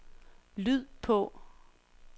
lyd på